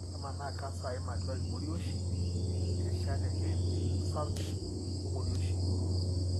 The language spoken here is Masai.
kemaana canser aim atua imorioshi, irishat elymph osarg; ol-morioshi.